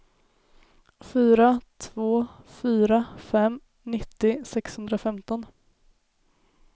fyra två fyra fem nittio sexhundrafemton